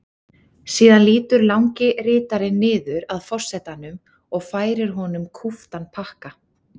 Síðan lýtur langi ritarinn niður að forsetanum og færir honum kúptan pakka.